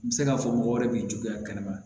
N bɛ se k'a fɔ mɔgɔ wɛrɛ b'i juguya kɛnɛ ma